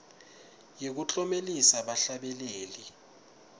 yekuklomelisa bahlabeleli